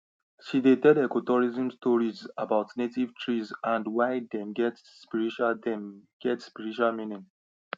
she dey tell ecotourism stories about native trees and why dem get spiritual dem get spiritual meaning